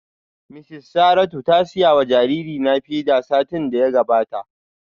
Mrs Saratu ta siya wa jaririna feeder satin da ya gabata